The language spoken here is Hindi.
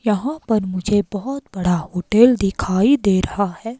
यहां पर मुझे बहोत बड़ा होटल दिखाई दे रहा है।